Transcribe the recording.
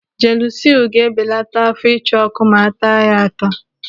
Jelusilu ga-ebelata áfọ́ ịcha ọ́kụ́ ma a taa ya ata.